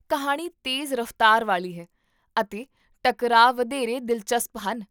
ਕਹਾਣੀ ਤੇਜ਼ ਰਫ਼ਤਾਰ ਵਾਲੀ ਹੈ, ਅਤੇ ਟਕਰਾਅ ਵਧੇਰੇ ਦਿਲਚਸਪ ਹਨ